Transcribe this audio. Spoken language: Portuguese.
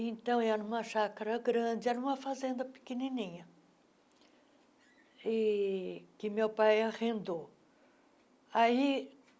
Então era uma chácara grande, era uma fazenda pequenininha, e que meu pai arrendou. aí